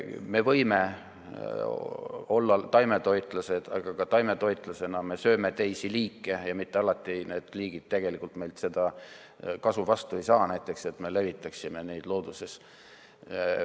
Me võime olla taimetoitlased, aga ka taimetoitlasena me sööme teisi liike ja mitte alati need liigid tegelikult meilt kasu vastu ei saa, näiteks seda, et me levitaksime neid looduses.